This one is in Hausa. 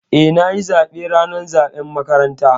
Eh, na yi zaɓe ranar zaɓen makaranta.